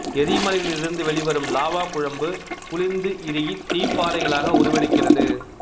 எரிமலைகளில் இருந் து வெளிவரும் லாவா குழம்பு குளிர்ந்து இறுகி தீப்பாறைகளாக உருவெடுக்கிறது